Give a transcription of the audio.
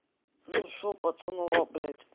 ну что пацанва блядь